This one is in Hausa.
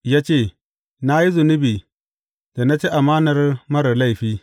Ya ce, Na yi zunubi da na ci amanar marar laifi.